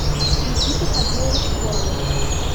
никита хабилович воронов